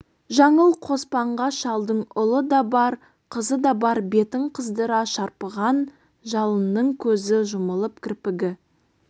жаңыл қоспанға шалдың ұлы да бар қызы да бар бетін қыздыра шарпыған жалыннан көзі жұмылып кірпігі